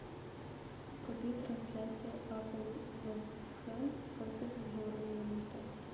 вруби трансляцию апл вест хэм против борнмута